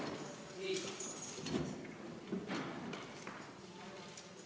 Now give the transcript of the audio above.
Istungi lõpp kell 13.58.